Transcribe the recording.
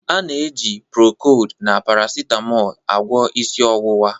A na-eji procold na paracetmol agwọ isi ọwụwa